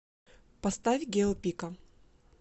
поставь гио пика